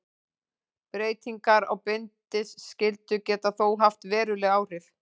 Breytingar á bindiskyldu geta þó haft veruleg áhrif.